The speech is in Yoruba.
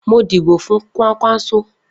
Mo díbò fún Kwankwanso.